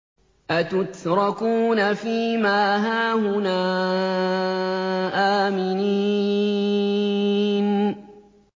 أَتُتْرَكُونَ فِي مَا هَاهُنَا آمِنِينَ